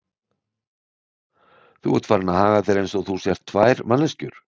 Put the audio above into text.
Þú ert farinn að haga þér eins og þú sért tvær manneskjur.